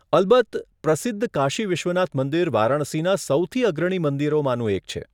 અલબત્ત. પ્રસિદ્ધ કાશી વિશ્વનાથ મંદિર વારાણસીના સૌથી અગ્રણી મંદિરોમાંનું એક છે.